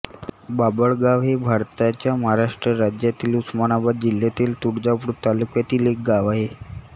बाभळगाव हे भारताच्या महाराष्ट्र राज्यातील उस्मानाबाद जिल्ह्यातील तुळजापूर तालुक्यातील एक गाव आहे